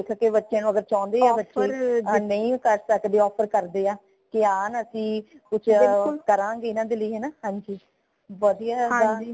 ਕਿ ਅਗਰ ਬੱਚੇ ਚਾਉਂਦੇ ਅਗਰ ਨਈ ਕਰ ਸਕਦੇ offer ਕਰਦੇ ਹਾ ਕਿ ਹਾਂ ਅਸੀਂ ਕੁਛ ਕਰਾਂਗੇ ਇਨਾ ਦੇ ਲਈ ਹੈ ਨਾ ਹਾਂਜੀ ਵਧੀਆ ਏਦਾਂ